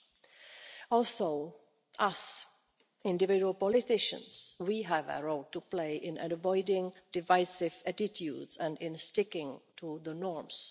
We too, as individual politicians, have a role to play in avoiding divisive attitudes and in sticking to the norms.